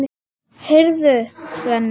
Heyrðu, Svenni.